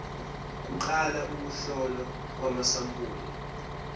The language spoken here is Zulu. kuqala ukuhlolwa kwamasampuli